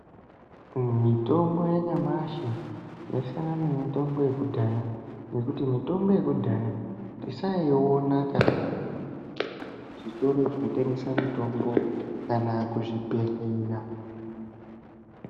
Mitombo yanyamashi yasiyana nemitombo yekudhaya ngekuti mitombo yekudhaya tisaiiona muzvitoro zvinotengesa mitombo kana kuzvibhedhlera.